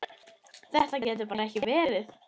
Þetta getur bara ekki verið.